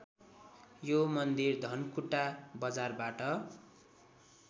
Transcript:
यो मन्दिर धनकुटा बजारबाट